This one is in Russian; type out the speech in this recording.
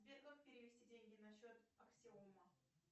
сбер как перевести деньги на счет аксиома